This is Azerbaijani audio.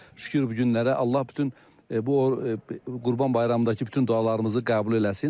Şükür bu günlərə, Allah bütün Qurban Bayramındakı bütün dualarımızı qəbul eləsin.